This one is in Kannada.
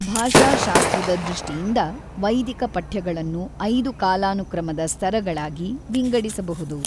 ಭಾಷಾಶಾಸ್ತ್ರದ ದೃಷ್ಟಿಯಿಂದ, ವೈದಿಕ ಪಠ್ಯಗಳನ್ನು ಐದು ಕಾಲಾನುಕ್ರಮದ ಸ್ತರಗಳಾಗಿ ವಿಂಗಡಿಸಬಹುದು: